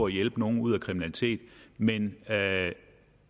at hjælpe nogle ud af kriminalitet men